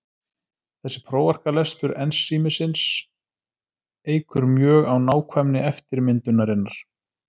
Þessi prófarkalestur ensímsins eykur mjög á nákvæmni eftirmyndunarinnar.